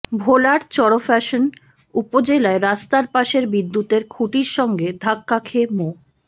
ভোলার চরফ্যাশন উপজেলায় রাস্তার পাশের বিদ্যুতের খুঁটির সঙ্গে ধাক্কা খেয়ে মো